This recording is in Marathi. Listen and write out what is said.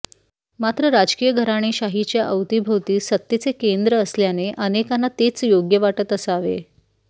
मात्र राजकीय घराणेशाहीच्या आवतीभोवती सत्तेचे केंद्र असल्याने अनेकांना तेच योग्य वाटत असावे